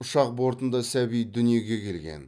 ұшақ бортында сәби дүниеге келген